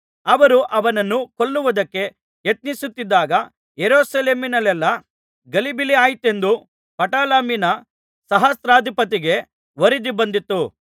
ಅವರು ಅವನನ್ನು ಕೊಲ್ಲುವುದಕ್ಕೆ ಯತ್ನಿಸುತ್ತಿದ್ದಾಗ ಯೆರೂಸಲೇಮಿನಲ್ಲೆಲ್ಲಾ ಗಲಿಬಿಲಿಯಾಯಿತೆಂದು ಪಟಾಲಮಿನ ಸಹಸ್ರಾಧಿಪತಿಗೆ ವರದಿ ಬಂದಿತು